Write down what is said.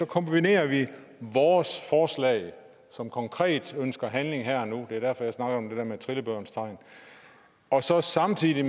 kombinerer vi vores forslag som konkret ønsker handling her og nu det er derfor at jeg snakker om det der med trillebørens tegn og så samtidig